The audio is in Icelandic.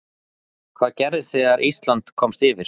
Hvað gerðist þegar Ísland komst yfir?